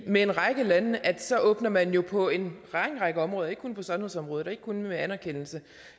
med en række lande så åbner man jo på en lang række områder ikke kun på sundhedsområdet og ikke kun med anerkendelse